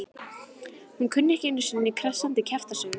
Hún kunni ekki einu sinni krassandi kjaftasögur.